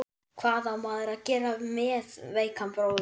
Hvað á maður að gera með veikan bróður sinn?